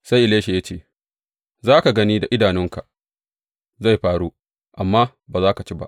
Sai Elisha ya ce, Za ka gani da idanunka, zai faru, amma ba za ka ci ba!